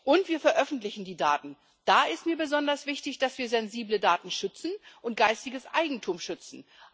Und wir veröffentlichen die Daten da ist mir besonders wichtig, dass wir sensible Daten und geistiges Eigentum schützen.